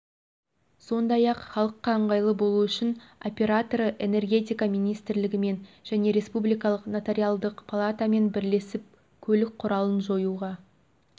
сондай-ақ халыққа ыңғайлы болу үшін операторы энергетика министрілгімен және республикалық нотариалдық палатамен бірлесіп көлік құралын жоюға